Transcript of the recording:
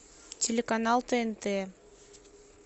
телеканал тнт